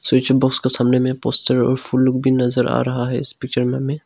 Switch box के सामने में पोस्चार और फूल लोग भी नजर आ रहा है इस पिक्चर में हमें।